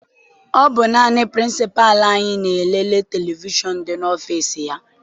Ọ bụ naanị pirincipalu anyị na e lele televishọn dị n'ọfịịsi ya.